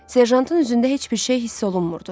Serjantın üzündə heç bir şey hiss olunmurdu.